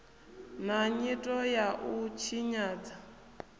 na nyito ya u tshinyadza